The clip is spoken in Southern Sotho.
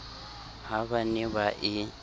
ha ba ne ba e